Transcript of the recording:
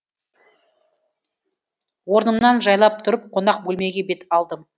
орнымнан жайлап тұрып қонақ бөлмеге бет алдым